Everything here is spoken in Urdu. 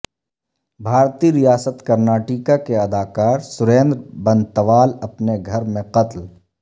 بھارتی ریاست کرناٹیکا کے اداکار سریندرا بنتوال اپنے گھر میں قتل